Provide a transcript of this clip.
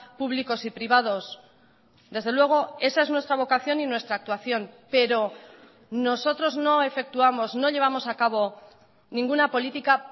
públicos y privados desde luego esa es nuestra vocación y nuestra actuación pero nosotros no efectuamos no llevamos a cabo ninguna política